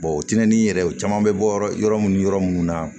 o tɛnɛni yɛrɛw caman be bɔ yɔrɔ munnu yɔrɔ munnu na